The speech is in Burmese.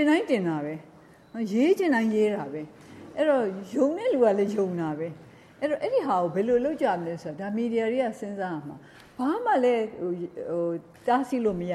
င်တိုင်း တင်တာပဲ၊ရေးချင်တိုင်း ရေးတာပဲ။ယုံတဲ့သူကလည်း ယုံတာပဲ။ဒါကို မီဒီယာသမားတွေက စဉ်းစားရမှာ၊ဘာမှလည်း တားဆီးလို့ မရ